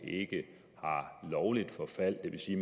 ikke har lovligt forfald det vil sige